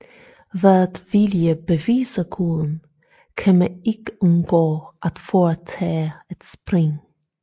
Ved at ville bevise Guden kan man ikke undgå at foretage et spring